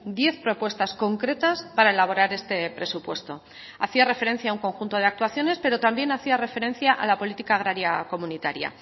diez propuestas concretas para elaborar este presupuesto hacía referencia a un conjunto de actuaciones pero también hacía referencia a la política agraria comunitaria